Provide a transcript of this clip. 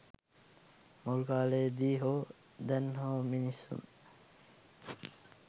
මුල් කාලයේ දී හෝ දැන් හෝ මිනිසුන්